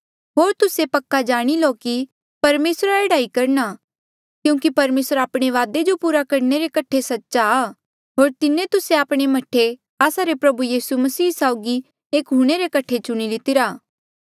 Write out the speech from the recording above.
होर तुस्से पक्का जाणी लो कि परमेसरा एह्ड़ा ही करणा क्यूंकि परमेसर आपणे वादे जो पूरा करणे रे कठे सच्चा आ होर तिन्हें तुस्से आपणे मह्ठे आस्सा रे प्रभु यीसू मसीह साउगी एक हूणे रे कठे चुणी लितिरा